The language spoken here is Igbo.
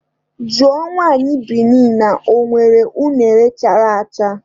Jụọ nwaanyị Bini na ọ nwere unere chara acha!